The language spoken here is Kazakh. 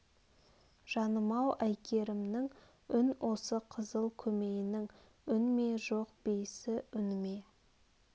жаным-ау әйгерімнің үн осы қызыл көмейнің үн ме жоқ бейсі үн ме